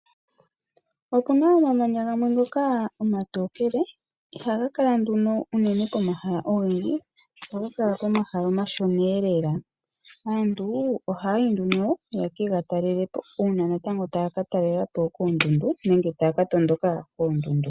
Opu na omamanya gamwe ngoka omatokele ashike ihaga kala pomahala ogendji ohaga kala owala pomahala omashonalela. Aantu ohayayi ye kega talelepo uuna taya talelepo kondundu nenge taya ka tondoka kondundu.